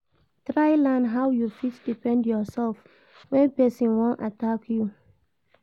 Try learn how you fit defend yourself when persin won attack you